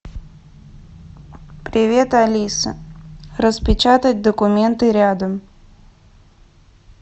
привет алиса распечатать документы рядом